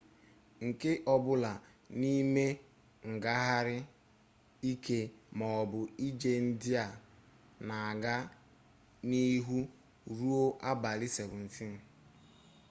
nke ọbụla n'ime ngagharị ike maọbụ ije ndị a na-aga n'ihu ruo abalị 17